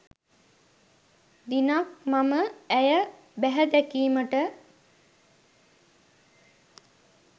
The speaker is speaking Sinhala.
දිනක් මම ඇය බැහැ දැකීමට